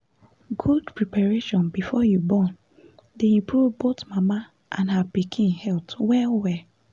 good preparation before you born dey improve both mama and her pikin health well well